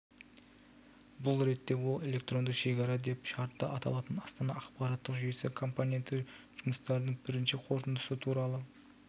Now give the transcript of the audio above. бұл ретте ол электронды шекара деп шартты аталатын астана ақпараттық жүйесі компоненті жұмыстарының бірінші қорытындысы туралы